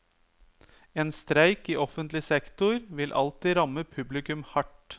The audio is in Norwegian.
En streik i offentlig sektor vil alltid ramme publikum hardt.